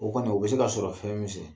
O kɔni o bɛ se ka sɔrɔ fɛn min sɛ